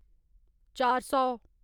चार सौ